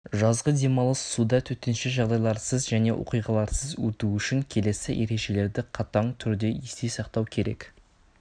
жазғы демалыс суда төтенше жағдайларсыз және оқиғаларсыз өту үшін келесі ережелерді қатаң түрде есте сақтау керек